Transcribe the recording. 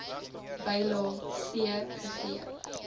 bylae c gegee